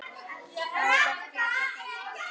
Róbert: Geta þeir það?